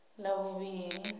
ḽavhuvhili